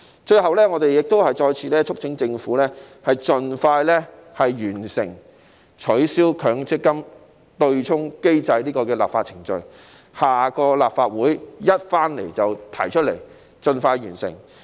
最後，我們再次促請政府盡快完成取消強積金對沖機制的立法程序，下屆立法會開始時便立即提交法案，盡快完成。